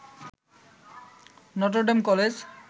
Notre Dame college